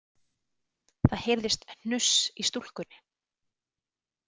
Það heyrðist hnuss í stúlkunni.